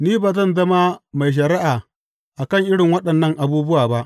Ni ba zan zama mai shari’a kan irin waɗannan abubuwa ba.